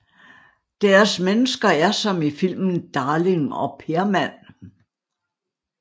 Deres mennesker er som i filmen Darling og Permand